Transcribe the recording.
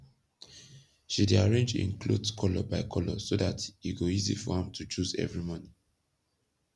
she dey arrang en kloth kolor by kolor so dat e go easy for am to choose evry morning